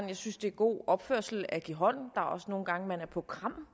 jeg synes det er god opførsel at give hånd der er også nogle gange man er på kram